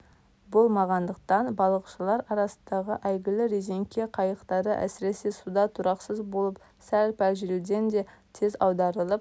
болмағандықтан балықшалар арасындағы әйгілі резенке қайықтары әсіресе суда тұрақсыз болып сәл-пәл желден де тез аударылып